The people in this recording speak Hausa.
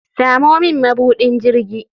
Samo min mabudin jirgi.